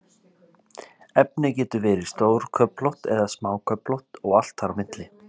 Efnið getur verið stórköflótt eða smáköflótt og allt þar á milli.